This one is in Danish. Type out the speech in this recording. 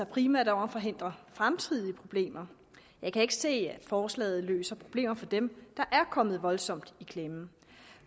primært om at forhindre fremtidige problemer jeg kan ikke se at forslaget løser problemer for dem der er kommet voldsomt i klemme